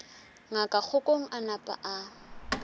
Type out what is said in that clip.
ngaka kgokong a napa a